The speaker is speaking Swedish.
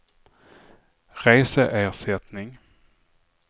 reseersättning